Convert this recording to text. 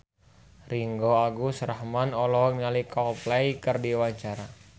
Ringgo Agus Rahman olohok ningali Coldplay keur diwawancara